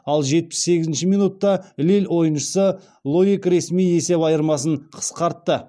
ал жетпіс сегізінші минутта лилль ойыншысы лоик ресми есеп айырмасын қысқартты